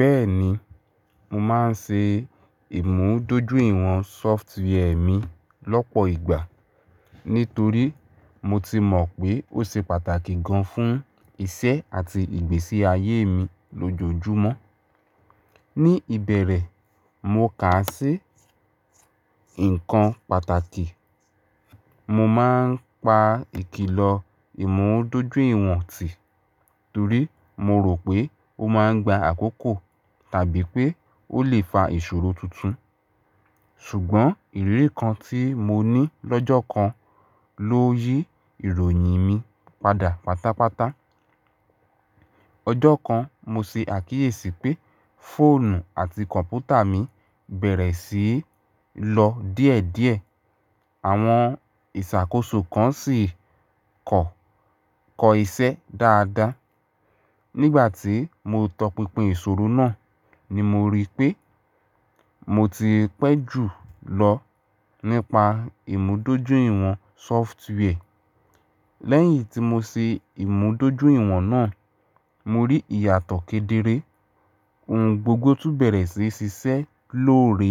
Bẹ́ẹ̀ni, mo máa ń ṣe ìmúdójúìwọ̀n software mi lọ́pọ̀ ìgbà. Nítorí mo ti mọ̀ pé ó ṣe pàtàkì gan-an fún iṣẹ́ àti ìgbésí ayé mi lójoojúmọ́. Ni ìbẹ̀rẹ̀, mo kà á sí ǹkan pàtàkì. Mo máa ń pa ìkìlọ ìmúdójúìwọ̀n tì, torí mo rò pé ó máa ń gba àkókò tàbí pé ó lè fa ìṣòro tuntun. Ṣùgbọ́n ìrírí kan tí mo ní lọ́jọ́ kan ló yí ìròyìn mi padà pátápátá. Ọjọ́ kan, mo ṣe àkíyèsí pé fóònù àti kọ̀m̀pútà mi bẹ̀rẹ̀ sí í lọ díẹ̀díẹ̀. Àwọn ìṣàkóso kan sì kọ̀, kọ iṣẹ́ dáadáa. Nígbà tí mo tọpinpin ìṣòro náà ni mo rí pé mo ti pẹ́ jù lọ nípa ìmúdójúìwọ̀n software. Lẹ́yìn tí mo ṣe ìmúdójúìwọ̀n náà, mo rí ìyàtọ̀ kedere. Ohun gbogbo tún bẹ̀rẹ̀ sí í ṣiṣẹ́ lóore.